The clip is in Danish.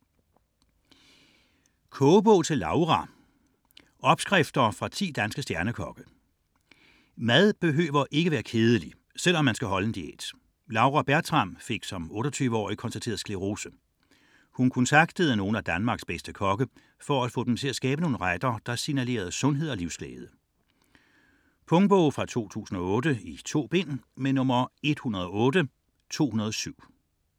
64.14 Kogebog til Laura: opskrifter fra 10 danske stjernekokke Mad behøver ikke være kedelig, selv om man skal holde en diæt. Laura Bertram fik som 28-årig konstateret sklerose. Hun kontaktede nogle af Danmarks bedste kokke for at få dem til at skabe nogle retter, der signalerede sundhed og livsglæde. Punktbog 108207 2008. 2 bind.